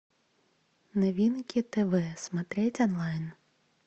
новинки тв смотреть онлайн